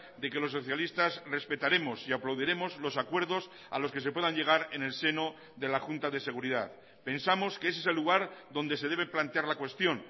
de que los socialistas respetaremos y aplaudiremos los acuerdos a los que se puedan llegar en el seno de la junta de seguridad pensamos que ese es el lugar donde se debe plantear la cuestión